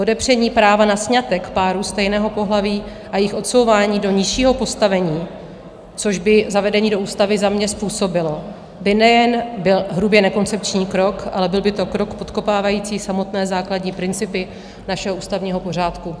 Odepření práva na sňatek párů stejného pohlaví a jejich odsouvání do nižšího postavení, což by zavedení do ústavy za mě způsobilo, by nejen byl hrubě nekoncepční krok, ale byl by to krok podkopávající samotné základní principy našeho ústavního pořádku.